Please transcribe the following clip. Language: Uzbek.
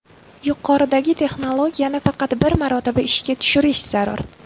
Yuqoridagi texnologiyani faqat bir marotaba ishga tushirish zarur.